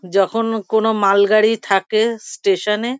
যখন কোনো মালগাড়ি থাকে স্টেশান -এ।